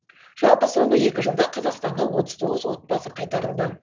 жалпы соңғы екі жылда қазақстанға отыз тоғыз отбасы қайтарылды